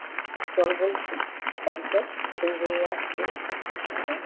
চল বলছি, বাড়ি চল। সন্ধ্যে হয়ে আসছে না। দেখছিস না!